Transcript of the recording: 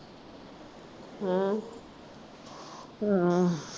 ਹਮ ਹਮ